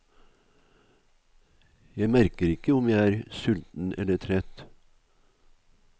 Jeg merker ikke om jeg er sulten eller trett.